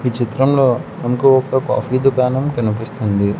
ఈ చిత్రంలో మనకు ఒక కాఫీ దుకాణం కనిపిస్తుంది.